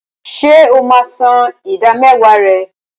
Ṣé o máa ń san ìdámẹ́wàá rẹ?